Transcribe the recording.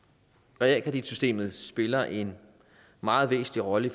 realkreditsystemet spiller en meget væsentlig rolle